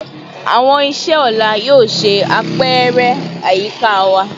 Awọn iṣe ọla yoo ṣe apẹrẹ ayika wa